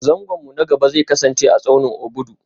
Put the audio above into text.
Zangon mu na gaba zai kasance a tsaunin Obudu